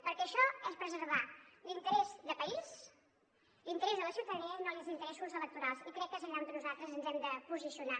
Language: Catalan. perquè això és preservar l’interès de país l’interès de la ciutadania i no els interessos electorals i crec que és allà on nosaltres ens hem de posicionar